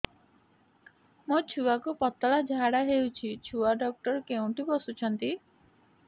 ମୋ ଛୁଆକୁ ପତଳା ଝାଡ଼ା ହେଉଛି ଛୁଆ ଡକ୍ଟର କେଉଁଠି ବସୁଛନ୍ତି